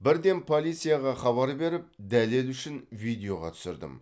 бірден полицияға хабар беріп дәлел үшін видеоға түсірдім